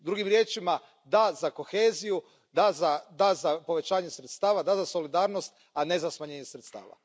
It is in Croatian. Drugim riječima, da za koheziju, da za povećanje sredstava, da za solidarnost, a ne za smanjenje sredstava.